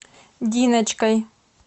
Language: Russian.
диночкой